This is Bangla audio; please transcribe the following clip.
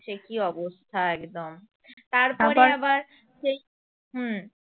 সে কি অবস্থা একদম তারপর আবার সেই হুম